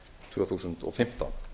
tvö þúsund og fimmtán